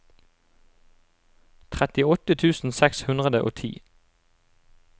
trettiåtte tusen seks hundre og ti